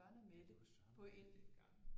Ja det var Søren og Mette dengang